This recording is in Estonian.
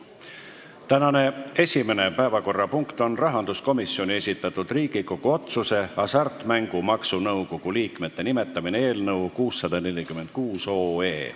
Tänane esimene päevakorrapunkt on rahanduskomisjoni esitatud Riigikogu otsuse "Hasartmängumaksu Nõukogu liikmete nimetamine" eelnõu 646.